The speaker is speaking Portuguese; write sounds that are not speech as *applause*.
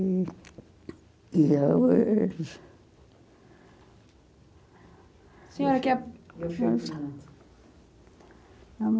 E e eu... *unintelligible* Senhora, quer... *unintelligible*